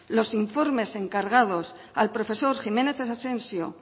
los informes encargados al profesor jiménez asensio